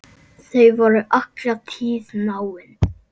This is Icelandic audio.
Þau voru alla tíð náin.